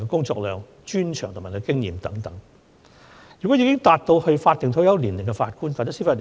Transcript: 這次的議題是關於法定退休年齡及法官的退休安排。